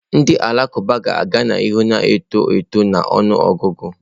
Ndị Alakụba ga-aga n'ihu na-eto eto na ọnụ ọgụgụ.